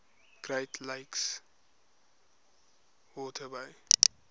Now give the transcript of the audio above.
great lakes waterway